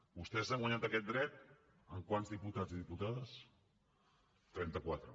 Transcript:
vostès s’han guanyat aquest dret amb quants diputats i diputades trenta quatre